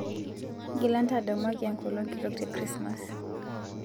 ng'ila ntadamuaki enkolong kitok te krismas